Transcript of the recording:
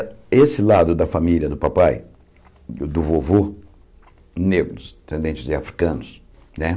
É, esse lado da família do papai, do vovô, negros, descendentes de africanos, né?